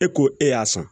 E ko e y'a sɔn